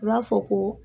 U b'a fɔ ko